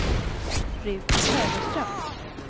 Ruth Söderström